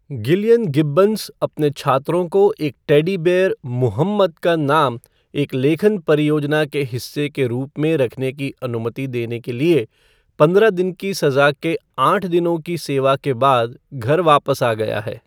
Gillian Gibbons अपने छात्रों को एक टेडी बेयर "मुहम्मद" का नाम एक लेखन परियोजना के हिस्से के रूप में रखने की अनुमति देने के लिए पंद्रह दिन की सजा के आठ दिनों की सेवा के बाद घर वापस आ गया है।